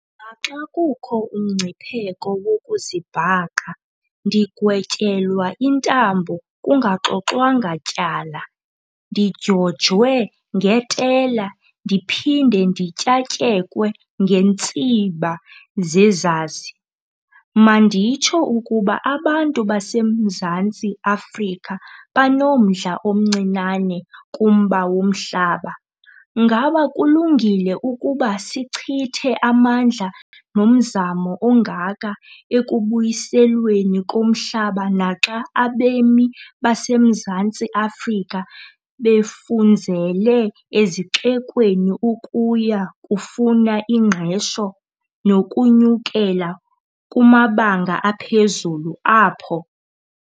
"Naxa kukho umngcipheko wokuzibhaqa ndigwetyelwa intambo kungaxoxwanga tyala, ndidyojwe ngetela, ndiphinde ndityatyekwe ngeentsiba zezazi, manditsho ukuba abantu baseMzantsi Afrika banomdla omncinane kumba womhlaba Ngaba kulungile ukuba sichithe amandla nomzamo ongaka ekubuyiselweni komhlaba naxa abemi baseMzantsi Afrika befunzele ezixekweni ukuya kufuna ingqesho nokunyukela kumabanga aphezulu apho?"